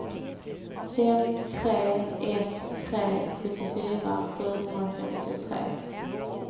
fem tre ett tre sjuttiofyra sjuhundrafemtiotre